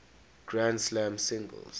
grand slam singles